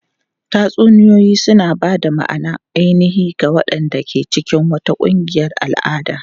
Tatsuniyoyi suna ba da ma'anar ainihi ga waɗanda ke cikin wata ƙungiyar al'ada.